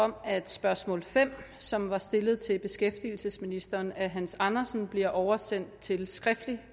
om at spørgsmål fem som var stillet til beskæftigelsesministeren af hans andersen bliver oversendt til skriftlig